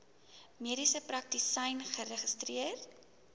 mediese praktisyn geregistreer